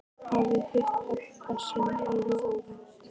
Hafði hitt pabba sinn alveg óvænt.